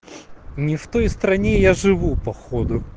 не в той стране я живу походу